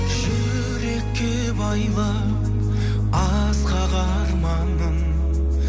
жүрекке байлап асқақ арманым